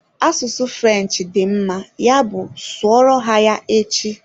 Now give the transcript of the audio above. Asụsụ French dị mma, ya bụ sụọ ro ha ya echi!